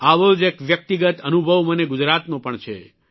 આવો જ એક વ્યક્તિગત અનુભવ મને ગુજરાતનો પણ છે